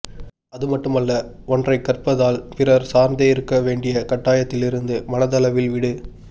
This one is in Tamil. அதுமட்டுமல்ல ஒன்றைக் கற்பதால் பிறர் சார்ந்தே இருக்க வேண்டிய கட்டாயத்திலிருந்து மனதளவில் விடு